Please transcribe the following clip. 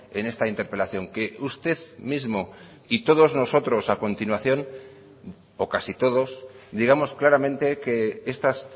en esta interpelación que usted mismo y todos nosotros a continuación o casi todos digamos claramente que estas